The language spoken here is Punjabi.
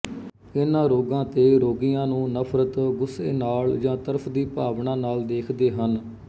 ਇਨ੍ਹਾਂ ਰੋਗਾਂ ਤੇ ਰੋਗੀਆਂ ਨੂੰ ਨਫ਼ਰਤ ਗੁੱਸੇ ਨਾਲ ਜਾਂ ਤਰਸ ਦੀ ਭਾਵਨਾ ਨਾਲ ਦੇਖਦੇ ਹਨ